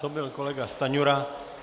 To byl kolega Stanjura.